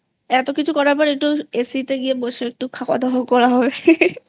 এতো কিছু করার পর একটু AC তে গিয়ে বসে খাওয়াদাওয়াও করা হবেI